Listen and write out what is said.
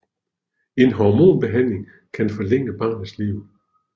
En hormonbehandling kan forlænge barnets liv